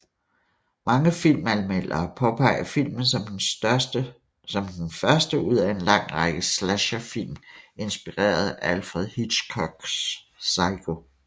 Mange filmanmeldere påpeger filmen som den første ud af en lang række slasher film inspireret af Alfred Hitchcocks Psycho